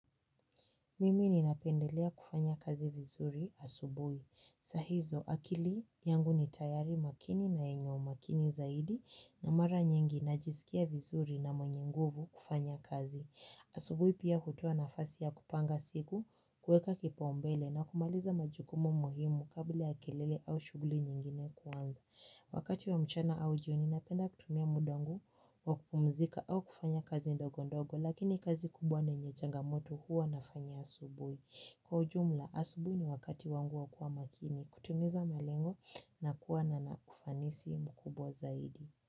Mimi ni napendelea kufanya kazi vizuri asubui. Saa hizo akili yangu ni tayari makini na yenye umakini zaidi na mara nyingi na jiskia vizuri na mwenye nguvu kufanya kazi. Asubui pia hutoa nafasi ya kupanga siku kuweka kipa umbele na kumaliza majukumu muhimu kabla ya kilele au shuguli nyingine kuanza. Wakati wa mchana au jioni napenda kutumia mudangu wakupumzika au kufanya kazi ndogo ndogo lakini kazi kubwa na yenye changa moto huwa nafanya asubui. Kwa ujumla asubui ni wakati wangu wakuwa makini kutimiza malengo na kuwa na na ufanisi mkubwa zaidi.